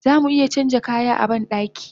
Zamu iya canja kaya a bandaki